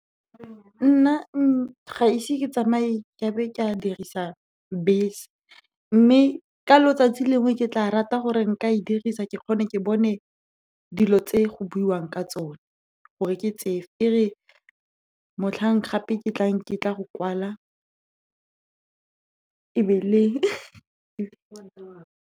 Nna ga ise ke tsamaye ke be ke a dirisa bese, mme ka letsatsi lengwe ke tla rata gore nka e dirisa, ke kgone ke bone dilo tse go buiwang ka tsone, gore ke tsefe. E re motlhang gape ke tlang, ke tla go kwala .